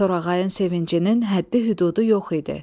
Torğayın sevincinin həddi-hüdudu yox idi.